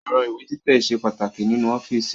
Ẹ̀rọ ìwé títẹ̀ ṣe pàtàkì nínú ọ́fíìsì